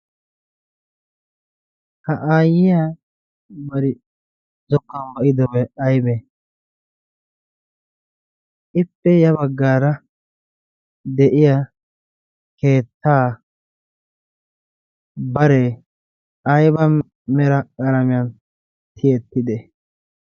ha aayiya bari zokkuwan ba'idobi aybee ? ippe ya bagaara bare ayba mera qalamiyan tiyetidee?